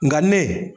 Nka ne